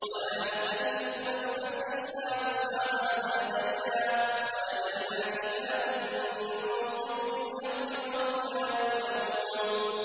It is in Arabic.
وَلَا نُكَلِّفُ نَفْسًا إِلَّا وُسْعَهَا ۖ وَلَدَيْنَا كِتَابٌ يَنطِقُ بِالْحَقِّ ۚ وَهُمْ لَا يُظْلَمُونَ